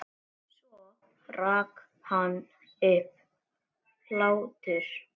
Svo rak hann upp hlátur.